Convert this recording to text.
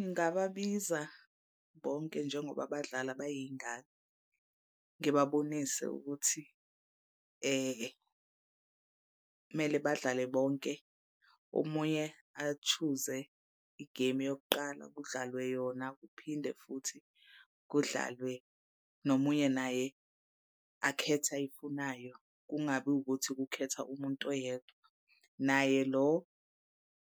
Ngingababiza bonke njengoba badlala bayingane, ngibabonise ukuthi kumele badlale bonke. Omunye a-choose-e igemu yokuqala kudlalwe yona kuphinde futhi kudlalwe nomunye naye akhethe ayifunayo. Kungabi ukuthi kukhetha umuntu oyedwa. Naye lo